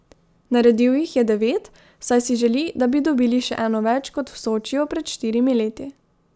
Naredil jih je devet, saj si želi, da bi dobili še eno več kot v Sočiju pred štirimi leti.